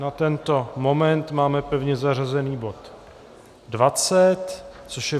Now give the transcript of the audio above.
Na tento moment máme pevně zařazený bod 20, což je